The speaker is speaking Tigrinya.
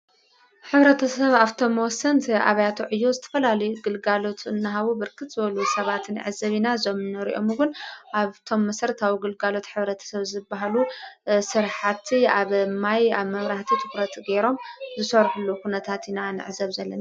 ኅብረተ ሰብ ኣብቶም መወሰንት ኣብያቶዕ እዩ ዝተፈላሉ ግልጋሎቱ እናሃቡ ብርክት በሉ ሰባትን ዕዘቢ ና ዞምነርኦምውን ኣብቶም መሥርት ኣው ግልጋሎት ኅብረተ ሰብ ዝበሃሉ ሥርሓቲ ኣብ ማይ ኣብ መምራህቲ ትዂረት ገይሮም ዝሠርሕሉ ዂነታቲና ነዕዘብ ዘለና።